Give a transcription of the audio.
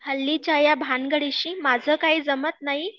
हल्लीच्या ह्या भानगडीशी, माझं काही जमत नाही